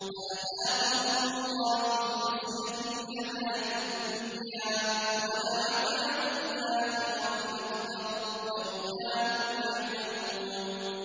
فَأَذَاقَهُمُ اللَّهُ الْخِزْيَ فِي الْحَيَاةِ الدُّنْيَا ۖ وَلَعَذَابُ الْآخِرَةِ أَكْبَرُ ۚ لَوْ كَانُوا يَعْلَمُونَ